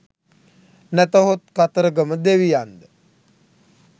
නැතහොත් කතරගම දෙවියන්ද?